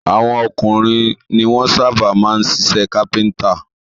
Àwọn ọkùnrin ni wọ́n sábà máa ń ṣiṣẹ́ kápẹ́ńtà.